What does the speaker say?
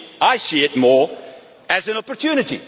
I see it more as an opportunity.